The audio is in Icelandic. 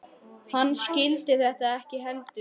Hann skildi þetta ekki heldur.